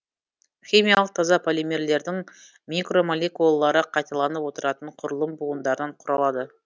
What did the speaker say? химиялық таза полимерлердің микромолекулалары қайталанып отыратын құрылым буындарынан құралады